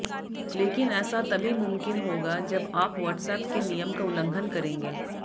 लेकिन ऐसा तभी मुमकिन होगा जब आप व्हॉट्सएप के नियम का उल्लंघन करेंगे